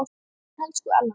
Elsku Ella mín.